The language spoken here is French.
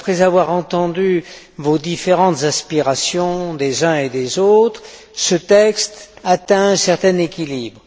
Après avoir entendu les différentes aspirations des uns et des autres, ce texte atteint un certain équilibre.